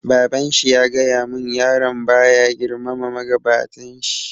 Baban shi ya gaya mun, yaron ba ya girmama magabatan shi